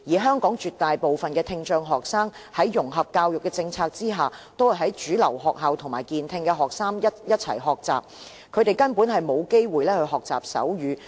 香港絕大部分的聽障學生在融合教育的政策下，都在主流學校與健聽學生一同學習，他們根本沒有機會學習手語。